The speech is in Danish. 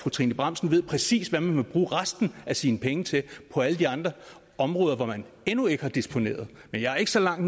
trine bramsen ved præcis hvad man må bruge resten af sine penge til på alle de andre områder hvor man endnu ikke har disponeret men jeg er ikke så meget